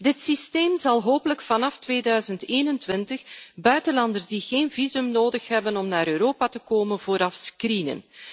Dit systeem zal hopelijk vanaf 2021 buitenlanders die geen visum nodig hebben om naar Europa te komen, vooraf screenen.